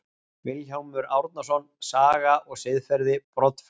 Vilhjálmur Árnason, Saga og siðferði, Broddflugur.